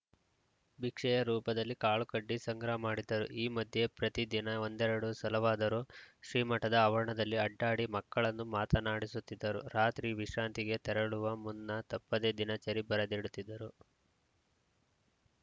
ಭಿಕ್ಷೆಯ ರೂಪದಲ್ಲಿ ಕಾಳುಕಡ್ಡಿ ಸಂಗ್ರಹ ಮಾಡಿದ್ದರು ಈ ಮಧ್ಯೆ ಪ್ರತಿ ದಿನ ಒಂದೆರೆಡು ಸಲವಾದರೂ ಶ್ರೀಮಠದ ಆವರಣದಲ್ಲಿ ಅಡ್ಡಾಡಿ ಮಕ್ಕಳನ್ನು ಮಾತನಾಡಿಸುತ್ತಿದ್ದರು ರಾತ್ರಿ ವಿಶ್ರಾಂತಿಗೆ ತೆರಳುವ ಮುನ್ನ ತಪ್ಪದೇ ದಿನಚರಿ ಬರೆದಿಡುತ್ತಿದ್ದರು